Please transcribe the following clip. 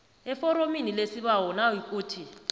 eforomini lesibawo nayikuthi